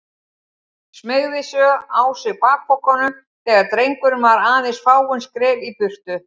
Smeygði svo á sig bakpokanum þegar drengurinn var aðeins fáein skref í burtu.